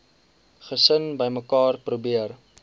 gesin bymekaar probeer